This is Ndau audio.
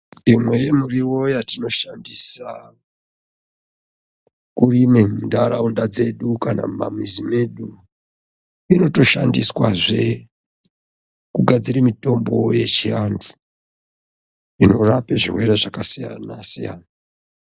Imwe yemiriwo yatinoshandisa kurime munharaunda dzedu kana mumamisha medi inotoshandiswazve kugadzire mitombo yechianthu inorape zvirwere zvakasiyana siyana.